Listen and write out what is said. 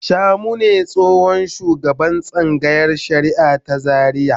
Shamu ne tsohon shugaban tsangayar shari'a ta Zariya.